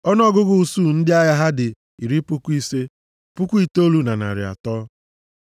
Ọnụọgụgụ usuu ndị agha ha dị iri puku ise, puku itoolu na narị atọ (59,300).